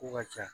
Ko ka ca